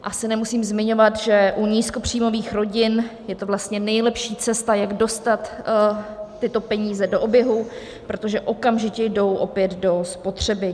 Asi nemusím zmiňovat, že u nízkopříjmových rodin je to vlastně nejlepší cesta, jak dostat tyto peníze do oběhu, protože okamžitě jdou opět do spotřeby.